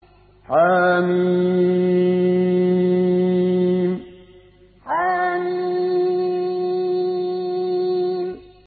حم حم